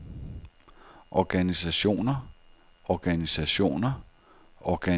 organisationer organisationer organisationer